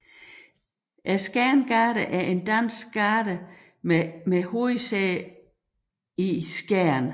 Skjern Garden er en dansk garde med hovedsæde i Skjern